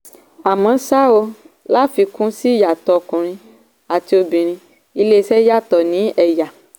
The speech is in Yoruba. àmọ́ ṣá o láfikún sí ìyàtọ̀ ọkùnrin àti obìnrin iléeṣẹ́ yàtọ̀ ní ẹ̀yà.